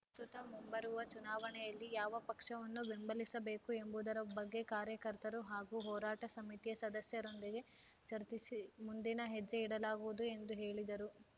ಪ್ರಸ್ತುತ ಮುಂಬರುವ ಚುನಾವಣೆಯಲ್ಲಿ ಯಾವ ಪಕ್ಷವನ್ನು ಬೆಂಬಲಿಸಬೇಕು ಎಂಬುದರ ಬಗ್ಗೆ ಕಾರ್ಯಕರ್ತರು ಹಾಗೂ ಹೋರಾಟ ಸಮಿತಿಯ ಸದಸ್ಯರೊಂದಿಗೆ ಚರ್ಚಿಸಿ ಮುಂದಿನ ಹೆಜ್ಜೆ ಇಡಲಾಗುವುದು ಎಂದು ಹೇಳಿದರು